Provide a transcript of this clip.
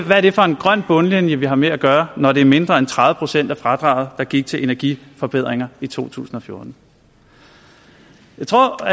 er det for en grøn bundlinje vi har med at gøre når det var mindre end tredive procent af fradraget der gik til energiforbedringer i 2014 jeg tror